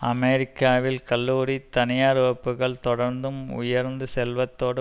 அமெரிக்காவில் கல்லூரி தனியார் வகுப்புகள் தொடர்ந்தும் உயர்ந்து செல்வதோடு